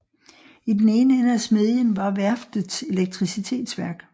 I den ene ende af smedjen var værftets elektricitetsværk